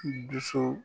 Dusu